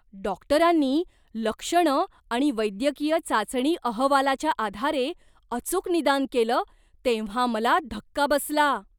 डॉक्टरांनी लक्षणं आणि वैद्यकीय चाचणी अहवालाच्या आधारे अचूक निदान केलं तेव्हा मला धक्का बसला!